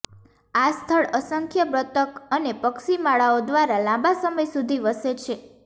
આ સ્થળ અસંખ્ય બતક અને પક્ષી માળાઓ દ્વારા લાંબા સમય સુધી વસે છે